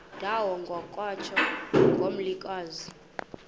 ndawo kwatsho ngomlilokazi